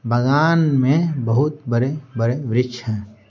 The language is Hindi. बगान में बहुत बड़ेबड़ेवृक्ष हैं।